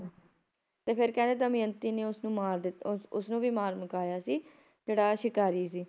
ਤੇ ਫੇਰ ਕਹਿੰਦੇ ਦਮਿਅੰਤੀ ਨੇ ਉਸਨੂੰ ਮਾਰ ਦਿੱਤਾ ਉਸ ਉਸਨੂੰ ਵੀ ਮਾਰ ਮੁਕਾਇਆ ਸੀ ਜਿਹੜਾ ਸ਼ਿਕਾਰੀ ਸੀ